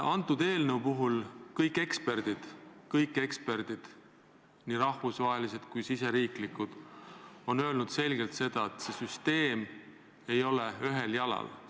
Selle eelnõu kohta on kõik eksperdid – nii rahvusvahelised kui meie riigi omad – selgelt öelnud, et meie süsteem ei seisa ühel jalal.